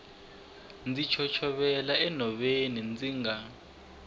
ndzi chochovela enhoveni ndzi nga